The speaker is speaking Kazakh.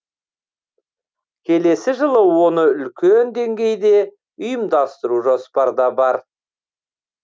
келесі жылы оны үлкен деңгейде ұйымдастыру жоспарда бар